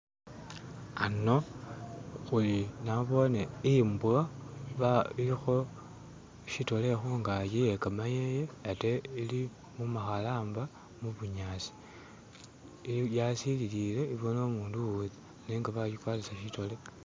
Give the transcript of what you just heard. Ano nabone imbwa ba iliko shidole kungaji iyegamoya ate ili mumakalamba ku bunyasi yasililile ibone umuntu uweza nenga bajigwatisa shidole.